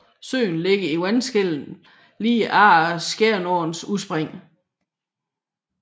Søen ligger i vandskellet lige efter Skjernåens udspring